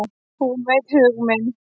Hún veit hug minn.